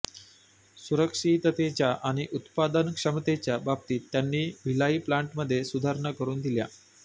सुरक्षिततेच्या आणि उत्पादन क्षमतेच्या बाबतीत त्यांनी भिलाई प्लान्टमध्ये सुधारणा करून दिल्या